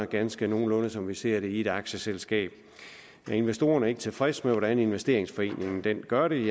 ganske nogenlunde som vi ser det i et aktieselskab er investorerne ikke tilfredse med den måde en investeringsforening gør det